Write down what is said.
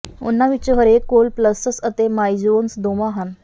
ਉਹਨਾਂ ਵਿਚੋਂ ਹਰੇਕ ਕੋਲ ਪਲੱਸਸ ਅਤੇ ਮਾਈਜੋਨਸ ਦੋਵਾਂ ਹਨ